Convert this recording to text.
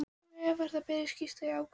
Hins vegar ber að skýra ákvæðin í